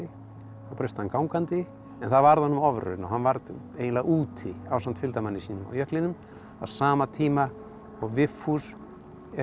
þá braust hann gangandi en það varð honum ofraun og hann varð eiginlega úti ásamt fylgdarmanni sínum á jöklinum á sama tíma og Vigfús er